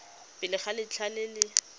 pele ga letlha le le